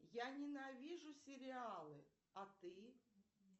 я ненавижу сериалы а ты